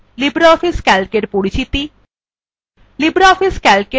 libreoffice calc এর পরিচিতি